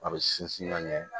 A bɛ sinsin ka ɲɛ